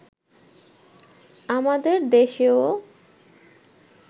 আমাদের দেশেও